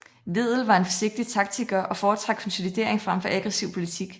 Wedel var en forsigtig taktiker og foretrak konsolidering frem for aggressiv politik